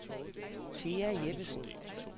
Thea Jeppesen